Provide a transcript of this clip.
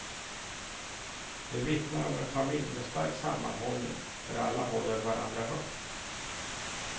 De vittnar om en familj med stark sammanhållning, där alla håller varandra högt.